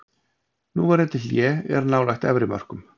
Núverandi hlé er nálægt efri mörkum.